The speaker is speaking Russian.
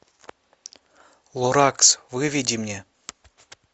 лоракс выведи мне